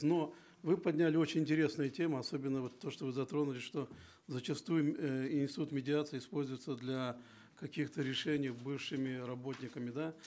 но вы подняли очень интересные темы особенно вот то что вы затронули что зачастую э институт медиации используется для каких то решений бывшими работниками да